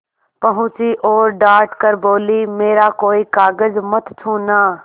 पहुँची और डॉँट कर बोलीमेरा कोई कागज मत छूना